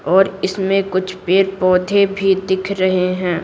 और इसमें कुछ पेड़-पौधे भी दिख रहे हैं।